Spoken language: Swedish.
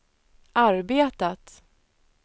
arbetat